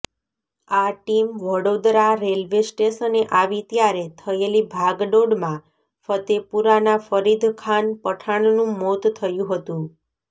આ team Vadodara railway સ્ટેશને આવી ત્યારે થયેલી ભાગદોડમાં ફતેપુરાના ફરીદખાન પઠાણનું મોત થયું હતું